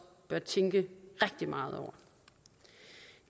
bør tænke rigtig meget over